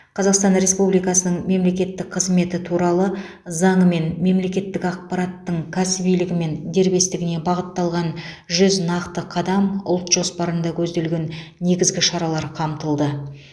қазақстан республикасының мемлекеттік қызметі туралы заңымен мемлекеттік аппараттың кәсібилігі мен дербестігіне бағытталған жүз нақты қадам ұлт жоспарында көзделген негізгі шаралар қамтылды